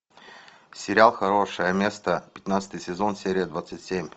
сериал хорошее место пятнадцатый сезон серия двадцать семь